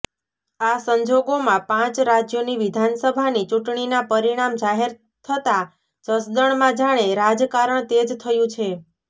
આ સંજોગોમાં પાંચ રાજ્યોની વિધાનસભાની ચૂંટણીના પરિણામ જાહેર થતાં જસદણમાં જાણે રાજકારણ તેજ થયું છે